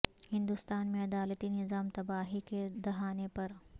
ہندوستان میں عدالتی نظام تباہی کے دہانے پر